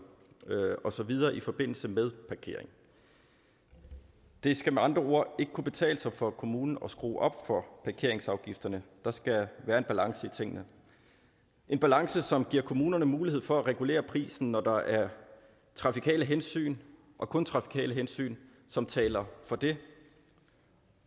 og så videre i forbindelse med parkering det det skal med andre ord ikke kunne betale sig for kommunen at skrue op for parkeringsafgifterne der skal være en balance i tingene en balance som giver kommunerne mulighed for at regulere prisen når der er trafikale hensyn og kun trafikale hensyn som taler for det